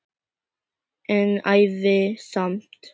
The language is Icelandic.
En ævi samt.